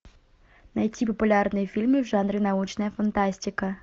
найти популярные фильмы в жанре научная фантастика